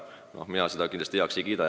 Noh, mina seda kindlasti heaks ei kiida.